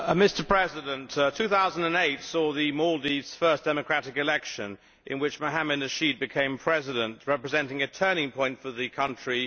Mr President, 2008 saw the Maldives' first democratic election, in which Mohamed Nasheed became President, representing a turning point for the country.